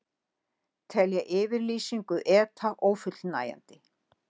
Telja yfirlýsingu ETA ófullnægjandi